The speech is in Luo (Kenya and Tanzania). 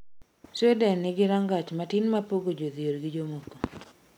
Sweden nengi rangach matin mapogo jo dhier gi jomoko